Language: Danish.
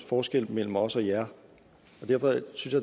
forskel mellem os og jer og derfor synes